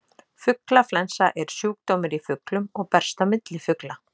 Fuglaflensa er sjúkdómur í fuglum og berst á milli fugla.